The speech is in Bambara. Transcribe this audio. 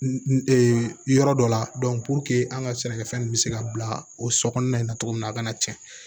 yɔrɔ dɔ la an ka sɛnɛkɛfɛn nunnu bɛ se ka bila o so kɔnɔna in na cogo min na a kana tiɲɛ